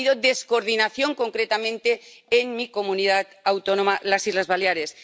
ha habido descoordinación, concretamente en mi comunidad autónoma, las Islas Baleares.